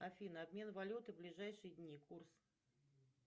афина обмен валюты ближайшие дни курс